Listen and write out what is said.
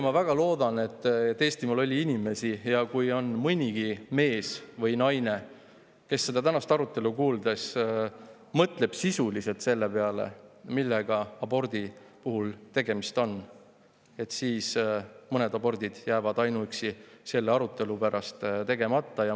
Ma väga loodan, et Eestimaal on inimesi ja kui nii mõnigi mees või naine seda tänast arutelu kuuldes mõtleb selle peale, millega abordi puhul tegemist on, siis mõned abordid jäävad ainuüksi selle arutelu pärast tegemata.